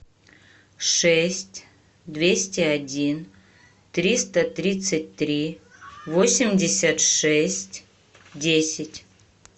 шесть двести один триста тридцать три восемьдесят шесть десять